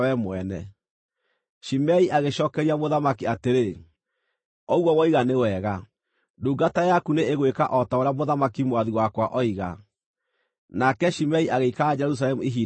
Shimei agĩcookeria mũthamaki atĩrĩ, “Ũguo woiga nĩ wega. Ndungata yaku nĩĩgwĩka o ta ũrĩa mũthamaki mwathi wakwa oiga.” Nake Shimei agĩikara Jerusalemu ihinda iraaya.